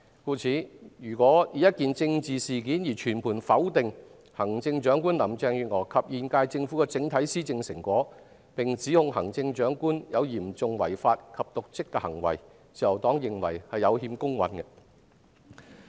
故此，如果單以一件政治事件而全盤否定行政長官林鄭月娥及現屆政府的整體施政成果，並指控行政長官有嚴重違法及瀆職行為，自由黨認為是有欠公允的。